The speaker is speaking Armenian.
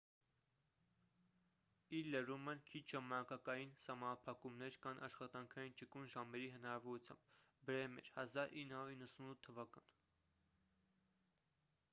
ի լրումն քիչ ժամանակային սահմանափակումներ կան աշխատանքային ճկուն ժամերի հնարավորությամբ։ բրեմեր 1998 թվական